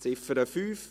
Ziffer 5: